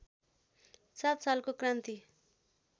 सात सालको क्रान्ति